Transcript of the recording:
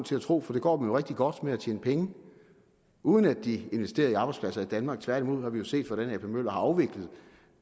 til at tro for det går dem jo rigtig godt med at tjene penge uden at de investerer i arbejdspladser i danmark tværtimod har vi set hvordan ap møller har afviklet